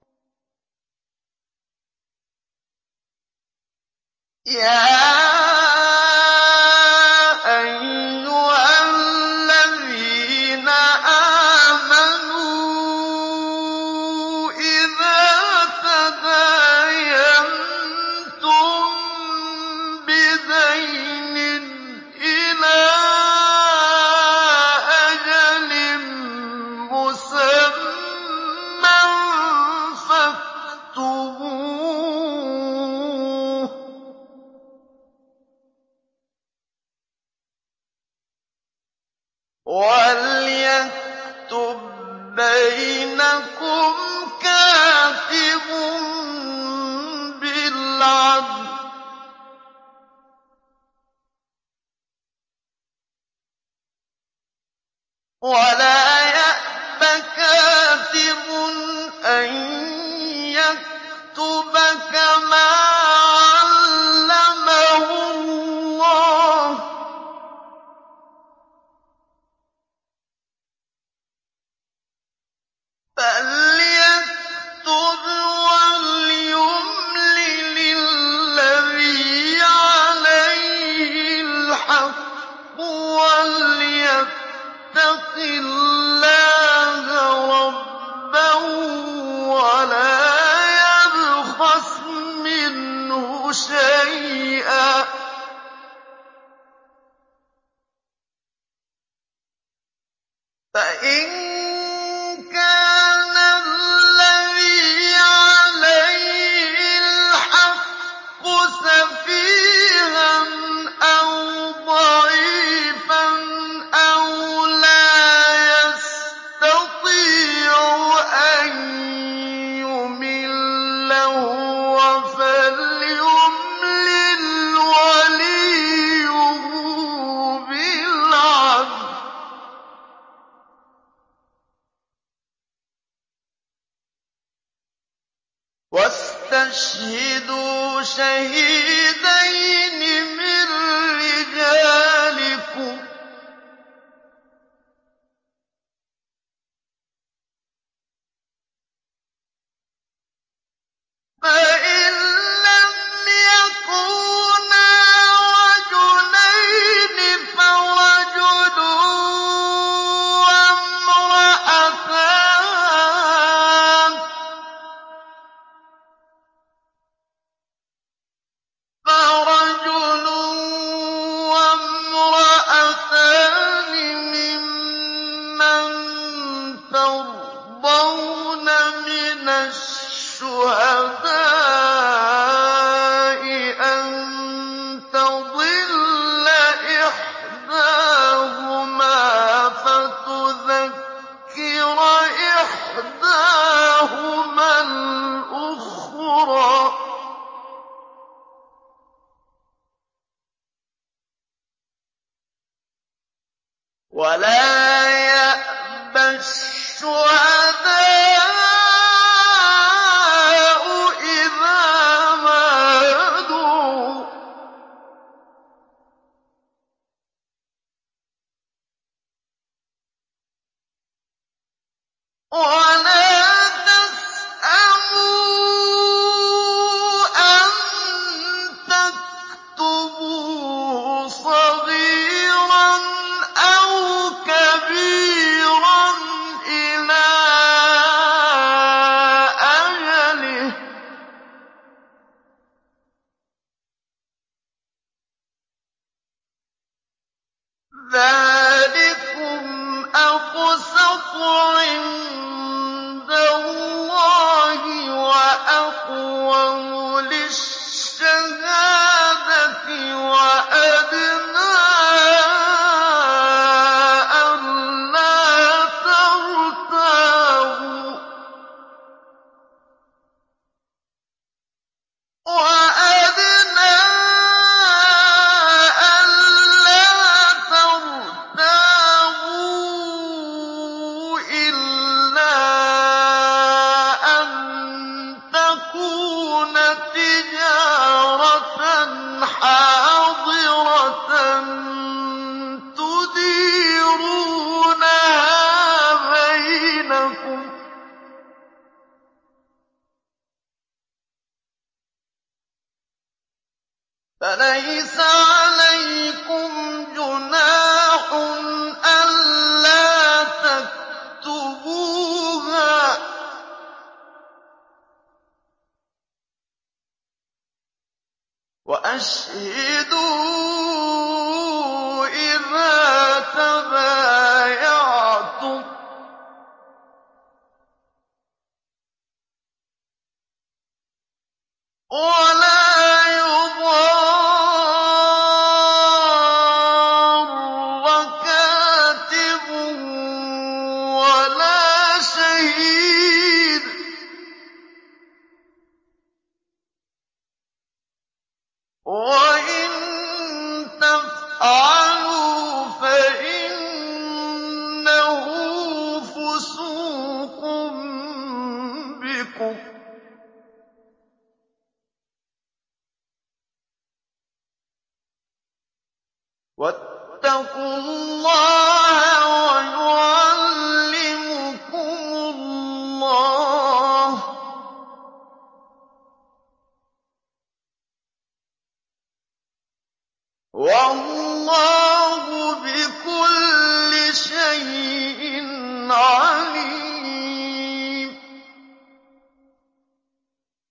يَا أَيُّهَا الَّذِينَ آمَنُوا إِذَا تَدَايَنتُم بِدَيْنٍ إِلَىٰ أَجَلٍ مُّسَمًّى فَاكْتُبُوهُ ۚ وَلْيَكْتُب بَّيْنَكُمْ كَاتِبٌ بِالْعَدْلِ ۚ وَلَا يَأْبَ كَاتِبٌ أَن يَكْتُبَ كَمَا عَلَّمَهُ اللَّهُ ۚ فَلْيَكْتُبْ وَلْيُمْلِلِ الَّذِي عَلَيْهِ الْحَقُّ وَلْيَتَّقِ اللَّهَ رَبَّهُ وَلَا يَبْخَسْ مِنْهُ شَيْئًا ۚ فَإِن كَانَ الَّذِي عَلَيْهِ الْحَقُّ سَفِيهًا أَوْ ضَعِيفًا أَوْ لَا يَسْتَطِيعُ أَن يُمِلَّ هُوَ فَلْيُمْلِلْ وَلِيُّهُ بِالْعَدْلِ ۚ وَاسْتَشْهِدُوا شَهِيدَيْنِ مِن رِّجَالِكُمْ ۖ فَإِن لَّمْ يَكُونَا رَجُلَيْنِ فَرَجُلٌ وَامْرَأَتَانِ مِمَّن تَرْضَوْنَ مِنَ الشُّهَدَاءِ أَن تَضِلَّ إِحْدَاهُمَا فَتُذَكِّرَ إِحْدَاهُمَا الْأُخْرَىٰ ۚ وَلَا يَأْبَ الشُّهَدَاءُ إِذَا مَا دُعُوا ۚ وَلَا تَسْأَمُوا أَن تَكْتُبُوهُ صَغِيرًا أَوْ كَبِيرًا إِلَىٰ أَجَلِهِ ۚ ذَٰلِكُمْ أَقْسَطُ عِندَ اللَّهِ وَأَقْوَمُ لِلشَّهَادَةِ وَأَدْنَىٰ أَلَّا تَرْتَابُوا ۖ إِلَّا أَن تَكُونَ تِجَارَةً حَاضِرَةً تُدِيرُونَهَا بَيْنَكُمْ فَلَيْسَ عَلَيْكُمْ جُنَاحٌ أَلَّا تَكْتُبُوهَا ۗ وَأَشْهِدُوا إِذَا تَبَايَعْتُمْ ۚ وَلَا يُضَارَّ كَاتِبٌ وَلَا شَهِيدٌ ۚ وَإِن تَفْعَلُوا فَإِنَّهُ فُسُوقٌ بِكُمْ ۗ وَاتَّقُوا اللَّهَ ۖ وَيُعَلِّمُكُمُ اللَّهُ ۗ وَاللَّهُ بِكُلِّ شَيْءٍ عَلِيمٌ